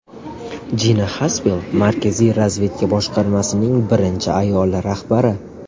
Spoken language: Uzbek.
Jina Xaspel Markaziy razvedka boshqarmasining birinchi ayol rahbari.